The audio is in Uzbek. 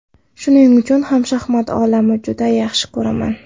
Shuning uchun ham shaxmat olamini juda yaxshi ko‘raman.